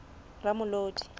ramolodi